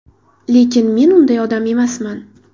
Lekin men unday odam emasman.